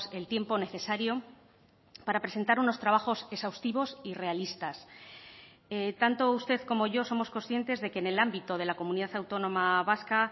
el tiempo necesario para presentar unos trabajos exhaustivos y realistas tanto usted como yo somos conscientes de que en el ámbito de la comunidad autónoma vasca